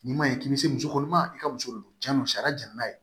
Nin man ɲi k'i bɛ se muso kɔnɔma i ka muso don yanni sariya jɛni n'a ye